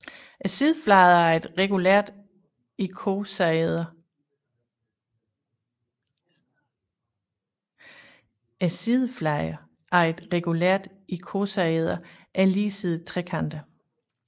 Sidefladerne af et regulært ikosaeder er ligesidede trekanter